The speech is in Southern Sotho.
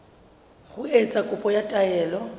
ho etsa kopo ya taelo